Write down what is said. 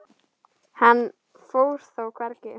Hann fór þó hvergi.